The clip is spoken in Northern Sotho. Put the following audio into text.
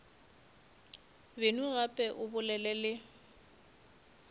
beno gape o bolele le